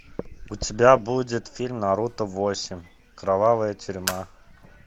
у тебя будет фильм наруто восемь кровавая тюрьма